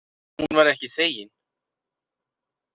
Hún var ekki þegin.